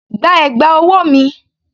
Gba ẹ̀gbà ọwọ́ mi!